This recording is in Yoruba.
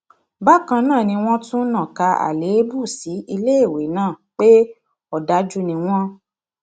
bákan náà ni wọn tún nàka àléébù sí iléèwé náà pé òdájú ni wọn